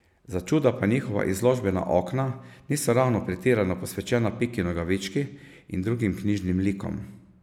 Začuda pa njihova izložbena okna niso ravno pretirano posvečena Piki Nogavički in drugim knjižnim likom.